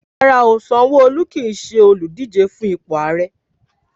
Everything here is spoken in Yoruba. Rárá o, Sanwoolu kí ṣe olùdíje fun ipò Ààrẹ.